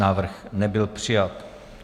Návrh nebyl přijat.